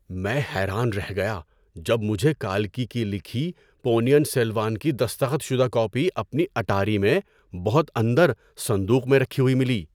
میں حیران رہ گیا جب مجھے کالکی کی لکھی پونین سیلوان کی دستخط شدہ کاپی اپنی اٹاری میں بہت اندر صندوق میں رکھی ہوئی ملی!